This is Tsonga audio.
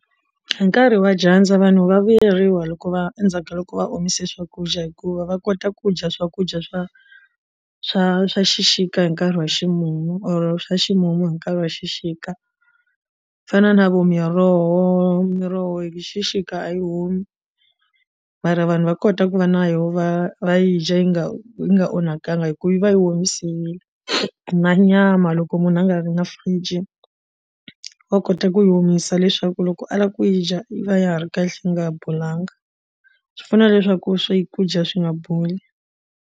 Hi nkarhi wa dyandza vanhu va vuyeriwa hikuva endzhaku ka loko va omise swakudya hikuva va kota ku dya swakudya swa swa swa xixika hi nkarhi wa ximumu or swa ximumu hi nkarhi wa xixika ku fana na vo miroho miroho hi xixika a yi humi mara vanhu va kota ku va na yoho va a yi dya yi nga yi nga onhakangi hi ku yi va yi omisiwile na nyama loko munhu a nga ri na fridge wa kota ku yi omisa leswaku loko a lava ku yi dya yi va ya ha ri kahle yi nga bolanga swi pfuna leswaku swakudya swi nga boli.